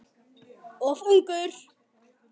Of ungur.